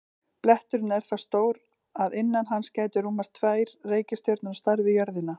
Bletturinn er það stór að innan hans gætu rúmast tvær reikistjörnur á stærð við jörðina.